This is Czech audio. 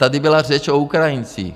Tady byla řeč o Ukrajincích.